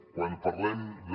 quan parlem de